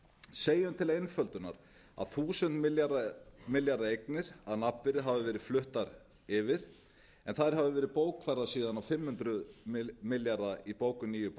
segjum til einföldunar að þúsund milljarða eignir að nafnvirði hafi verið fluttar yfir en þær hafi verið bókfærðar síðan á fimm hundruð milljarða í bókum nýju